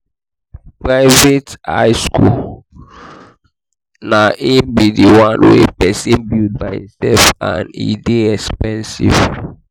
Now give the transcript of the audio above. private high school na di one wey persin build by himself and de dey expensive